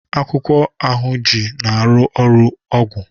akwụkwọ ahunji na aru ọrụ ọgwụ